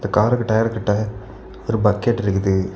காருக்கு டயர் கிட்ட ஒரு பக்கெட் இருக்குது.